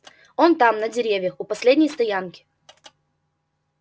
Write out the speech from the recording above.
он там на деревьях у последней стоянки